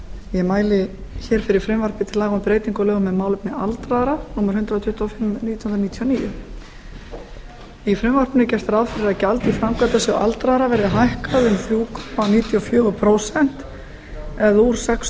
ég mæli fyrir frumvarpi til laga um breytingu á lögum um málefni aldraðra númer hundrað tuttugu og fimm nítján hundruð níutíu og níu í frumvarpinu er gert ráð fyrir að gjald til framkvæmdasjóðs aldraðra verði hækkað um þrjú komma níutíu og fjögur prósent eða úr sex